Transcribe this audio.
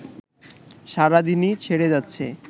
সারাদিনই ছেড়ে যাচ্ছে